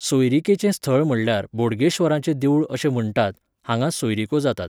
सोयरीकेचें स्थळ म्हणल्यार बोडगेश्वराचें देवूळ अशें म्हणटात, हांगा सोयरीको जातात.